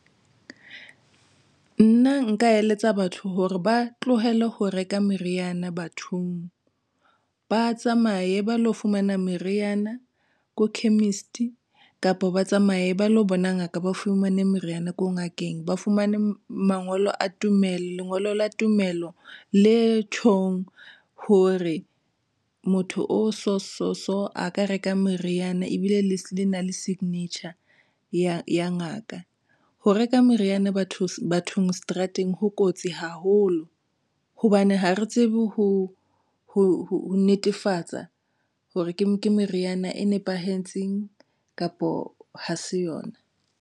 Nna nka eletsa batho hore ba tlohele ho reka meriana bathong ba tsamaye ba lo fumana meriana ko chemist kapa ba tsamaye ba lo bona ngaka ba fumane meriana ko ngakeng, ba fumane mangolo a tumello, lengolo la tumello le tjhong hore motho o so so a ka reka meriana ebile le le na le signature ya ngaka. Ho reka meriana bathong seterateng ho kotsi haholo hobane ha re tsebe ho ho netefatsa hore ke ke meriana e nepahetseng kapo ha se yona.